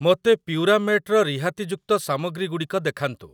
ମୋତେ ପ୍ୟୁରାମେଟ୍ ର ରିହାତିଯୁକ୍ତ ସାମଗ୍ରୀଗୁଡ଼ିକ ଦେଖାନ୍ତୁ ।